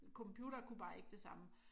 Computere kunne bare ikke det samme